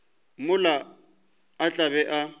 mola a tla be a